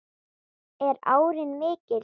Er áin mikil?